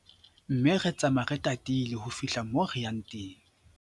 Mme re tsamaya re tatile ho fihla moo re yang teng.